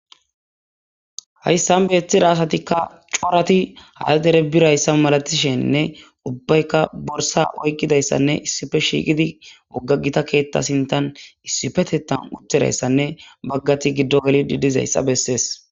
hayssan beeththira asatikka corati haadere birayssa malatishenne ubbaykka borsa oyqidayssanne issife shiiqidi wogga gita keetta sintan issifetetan utterayssanne baggati giddo gelidi dizayssa bessees.